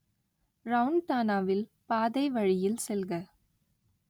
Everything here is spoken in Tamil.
ரவுண்டானாவில், பாதை வழியில் செல்க